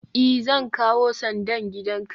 i, Zan kawo sandan gidanka